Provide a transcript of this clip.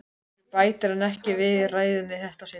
Þessu bætir hann ekki við ræðuna í þetta sinn.